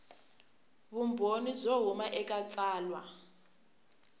vumbhoni byo huma eka tsalwa